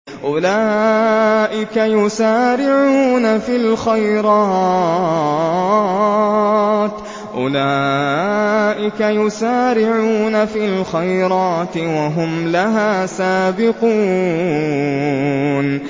أُولَٰئِكَ يُسَارِعُونَ فِي الْخَيْرَاتِ وَهُمْ لَهَا سَابِقُونَ